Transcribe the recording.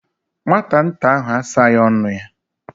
Nwata nta ahụ asaghị ọnụ ya.